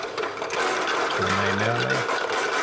Svona í meðallagi.